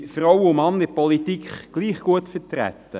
Sind Frauen und Männer in der Politik gleich gut vertreten?